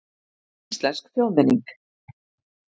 Íslensk þjóðmenning.